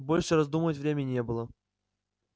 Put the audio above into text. больше раздумывать времени не было